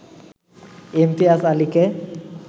Imtiaz আলিকে